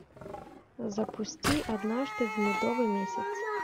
запусти однажды в медовый месяц